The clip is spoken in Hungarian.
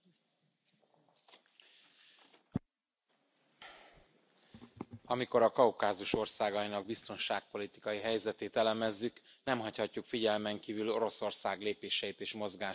Elnök Úr! Amikor a Kaukázus országainak biztonságpolitikai helyzetét elemezzük, nem hagyhatjuk figyelmen kívül Oroszország lépéseit és mozgását.